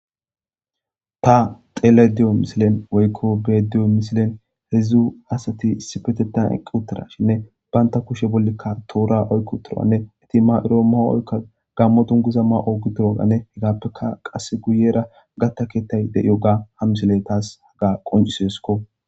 Ta telediyo misilen woykko bediyo misilen hedzdzu asati issipetetan eqqi uttara shinne baynta kushe bollekka toora oykko turanne eti ma'iroo mao oykka gammo dunguza ma'o gidiroagane hegappeka qasse guyera gatta keettay de yo ga hamsile taas haga qonciseesko.